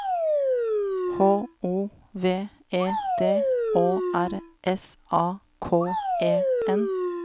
H O V E D Å R S A K E N